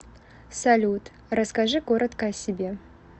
салют расскажи коротко о себе